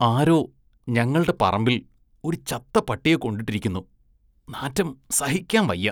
ആരോ ഞങ്ങള്‍ടെ പറമ്പില്‍ ഒരു ചത്ത പട്ടിയെ കൊണ്ടിട്ടിരിക്കുന്നു, നാറ്റം സഹിക്കാന്‍ വയ്യ.